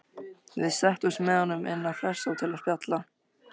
Við settumst með honum inn á Hressó til að spjalla.